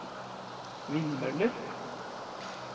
vindmøller